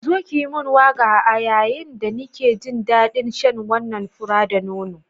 Zo ki yi mun waka a yayun da nike jin daɗin shan wannan fura da nono